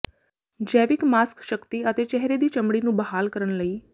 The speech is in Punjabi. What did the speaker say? ਜੈਵਿਕ ਮਾਸਕ ਸ਼ਕਤੀ ਅਤੇ ਚਿਹਰੇ ਦੇ ਚਮੜੀ ਨੂੰ ਬਹਾਲ ਕਰਨ ਲਈ